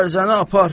O ərzəni apar.